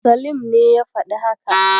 Salim ne ya faɗi haka.